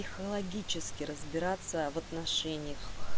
психологически разбираться в отношениях